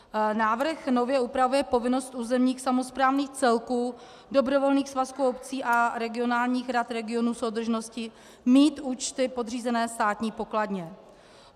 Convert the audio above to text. Návrh nově upravuje povinnost územních samosprávných celků, dobrovolných svazků obcí a regionálních rad regionů soudržnosti mít účty podřízené Státní pokladně.